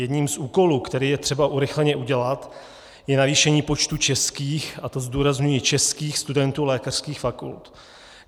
Jedním z úkolů, který je třeba urychleně udělat, je navýšení počtu českých - a to zdůrazňuji - českých studentů lékařských fakult.